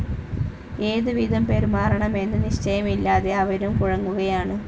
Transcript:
ഏതുവിധം പെരുമാറണമെന്ന് നിശ്ചയമില്ലാതെ അവരും കുഴങ്ങുകയാണ്.